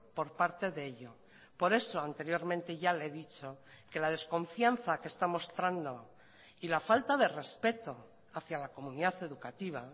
por parte de ello por eso anteriormente ya le he dicho que la desconfianza que está mostrando y la falta de respeto hacia la comunidad educativa